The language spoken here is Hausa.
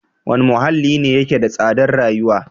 Wane muhalli ne yake da tsadar rayuwa?